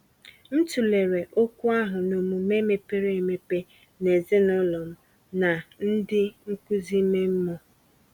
M tụlere okwu ahụ n’ọmume mepere emepe na ezinụlọ m na ndị nkuzi ime mmụọ.